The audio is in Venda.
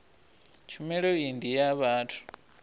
tshumelo iyi ndi ya vhathu